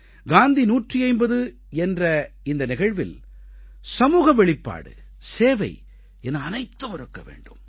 காந்தி 150 என்ற இந்த நிகழ்வில் சமூக வெளிப்பாடு சேவை என அனைத்தும் இருக்க வேண்டும்